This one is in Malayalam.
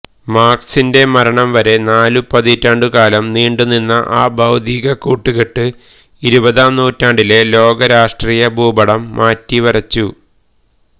മാര്ക്സിന്റെ മരണംവരെ നാലു പതിറ്റാണ്ടുകാലം നീണ്ടുനിന്ന ആ ബൌദ്ധിക കൂട്ടുകെട്ട് ഇരുപതാം നൂറ്റാണ്ടിലെ ലോക രാഷ്ട്രീയ ഭൂപടം മാറ്റിവരച്ചു